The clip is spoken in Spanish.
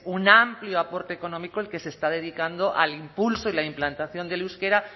un amplio aporte económico el que se está dedicando al impulso y la implantación del euskera